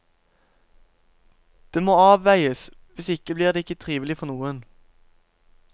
Det må avveies, hvis ikke blir det ikke trivelig for noen.